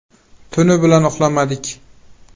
Tuni bilan uxlamadik.